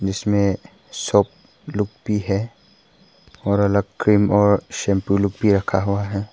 इसमें शॉप लोग भी और अलग क्रीम और शैंपू लोग भी रखा हुआ है।